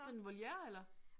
Sådan et voliere eller?